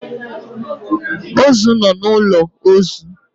Ozu nọ n'ụlọ ozu